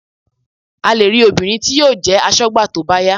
A lè rí obìnrin tí yóò jẹ́ aṣọ́gbà tó bá yá